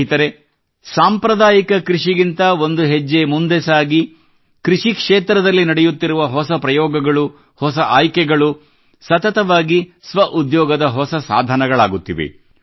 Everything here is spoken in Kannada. ಸ್ನೇಹಿತರೇ ಸಾಂಪ್ರದಾಯಿಕ ಕೃಷಿಗಿಂತ ಒಂದು ಹೆಜ್ಜೆ ಮುಂದೆ ಸಾಗಿ ಕೃಷಿ ಕ್ಷೇತ್ರದಲ್ಲಿ ನಡೆಯುತ್ತಿರುವ ಹೊಸ ಪ್ರಯೋಗಗಳು ಹೊಸ ಆಯ್ಕೆಗಳು ಸತತವಾಗಿ ಸ್ವಉದ್ಯೋಗದ ಹೊಸ ಸಾಧನಗಳಾಗುತ್ತಿವೆ